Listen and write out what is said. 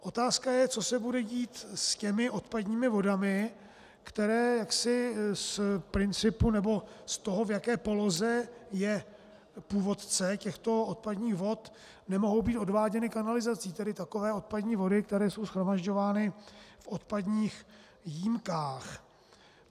Otázka je, co se bude dít s těmi odpadními vodami, které jaksi z principu nebo z toho, v jaké poloze je původce těchto odpadních vod, nemohou být odváděny kanalizací, tedy takové odpadní vody, které jsou shromažďovány v odpadních jímkách.